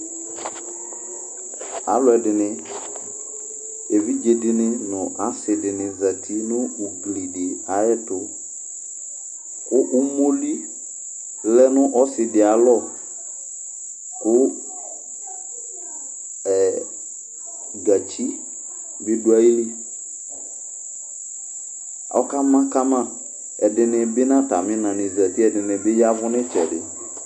Alʋɛdɩnɩ; evidze dɩnɩ nʋ asɩ dɩnɩ zǝtɩ nʋ kpokʋvi di ayʋ ɛtʋ Kʋ umoli lɛ nʋ ɔsɩ di ayʋ alɔ, kʋ gǝtsi bɩ dʋ ayili Ɔkama kama Ɛdɩnɩ bɩ nʋ atamɩ ina nɩ zǝtɩ Ɛdɩnɩ bɩ ya nʋ ɩtsɛdɩ